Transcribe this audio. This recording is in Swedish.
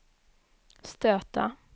stöta